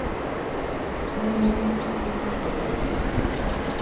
wọn ní àkókò kò dúró de ẹnìkan